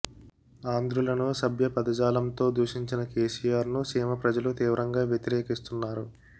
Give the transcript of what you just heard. ఆంధ్రులను అసభ్య పదజాలంతో దూషించిన కేసీఆర్ను సీమ ప్రజలు తీవ్రంగా వ్యతిరేకిస్తున్నారు